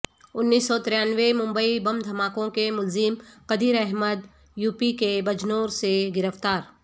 انیس سو ترانوے ممبئی بم دھماکوں کے ملزم قدیر احمد یوپی کے بجنور سے گرفتار